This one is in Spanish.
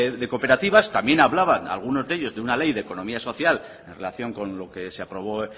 de cooperativas también hablaban algunos de ellos de una ley de economía social en relación con lo que se aprobó